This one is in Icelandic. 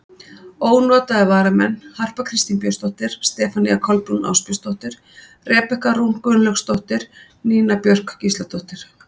Ónotaðir varamenn: Harpa Kristín Björnsdóttir, Stefanía Kolbrún Ásbjörnsdóttir, Rebekka Rún Gunnlaugsdóttir, Nína Björk Gísladóttir.